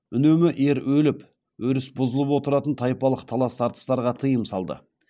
үнемі ер өліп өріс бұзылып отыратын тайпалық талас тартыстарға тыйым салды